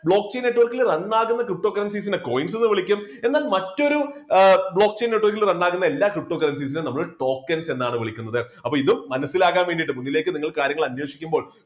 block chain network ൽ run ആകുന്ന ptocurrencies നെ coins എന്ന് വിളിക്കും. എന്നാൽ മറ്റൊരു block chain netwok ൽ run ആകുന്ന എല്ലാ ptocurrencies നെ നമ്മൾ token എന്നാണ് വിളിക്കുന്നത്. അപ്പൊ ഇതും മനസ്സിലാക്കാൻ വേണ്ടിയിട്ട് മുന്നിലേക്ക് നിങ്ങൾ കാര്യങ്ങൾ അന്വേഷിക്കുമ്പോൾ